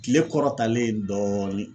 Tile kɔrɔ talen dɔɔnin